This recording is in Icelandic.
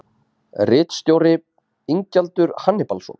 Ritstjóri: Ingjaldur Hannibalsson.